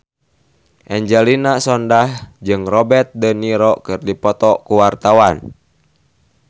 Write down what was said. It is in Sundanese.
Angelina Sondakh jeung Robert de Niro keur dipoto ku wartawan